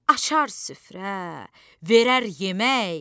Açar süfrə, verər yemək.